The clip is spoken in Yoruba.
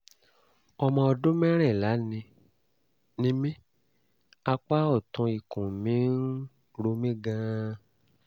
ọmọ ọdún mẹ́rìnlá ni ni mí apá ọ̀tún ikùn mi ń ro mí gan-an